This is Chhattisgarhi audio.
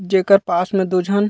जेकर पास में दु झन--